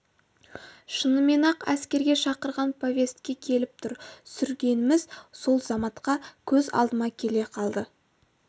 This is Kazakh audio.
шынымен ақ әскерге шақырған повестке келіп тұр сүргеніміз сол заматта көз алдыма келе қалды